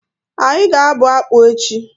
Anyị ga abụ akpu echi